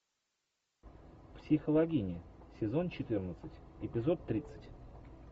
психологини сезон четырнадцать эпизод тридцать